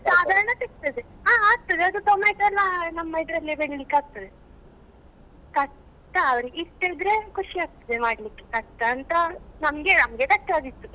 ಸಾದಾರ್ಣ ಸಿಗ್ತದೆ ಹ ಆಗ್ತದೆ ಅದು tomato ಎಲ್ಲ ನಮ್ಮ ಇದ್ರಲ್ಲೇ ಬೆಳಿಲಿಕ್ಕೆ ಆಗ್ತದೆ ಕಷ್ಟ ಅವರಿಗೆ ಇಷ್ಟ ಇದ್ರೆ ಖುಷಿ ಆಗ್ತದೆ ಮಾಡ್ಲಿಕ್ಕೆ ಕಷ್ಟ ಅಂತ ನಮ್ಗೆ ನಮ್ಗೆ ಕಷ್ಟ ಆಗಿತ್ತು.